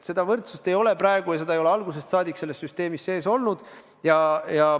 Seda võrdsust ei ole praegu ja seda ei ole algusest saadik selles süsteemis olnud.